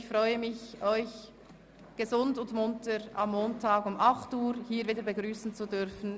Ich freue mich, Sie gesund und munter am Montag um 08.00 Uhr wieder begrüssen zu dürfen.